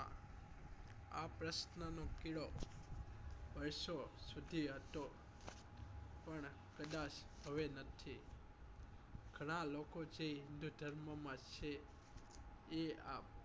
આ પ્રશ્ન નો કીડો વર્ષો સુધી હતો પણ હવે કદાચ નથી ગણા લોકો જે હિન્દુધર્મ માં છે એ આ